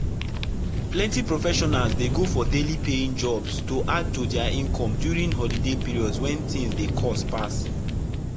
plenty professionals dey go for daily pay jobs to add to their income during holiday period when things dey cost pass.